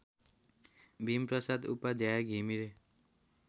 Bhimprasad Upadhyay Ghimire